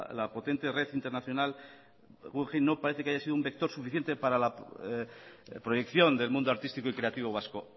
la potente red internacional guggenheim no parece que haya sido un vector suficiente para la proyección del mundo artístico y creativo vasco